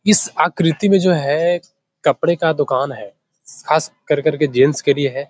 इस आकृति में जो है कपड़े का दुकान है खास कर करके जेंट्स के लिए है।